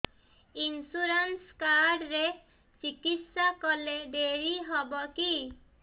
insurance card ରେ ଚିକିତ୍ସା କଲେ ଡେରି ହବକି